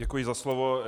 Děkuji za slovo.